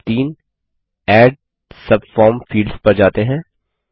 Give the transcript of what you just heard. चलिए step 3 add subform fields पर जाते हैं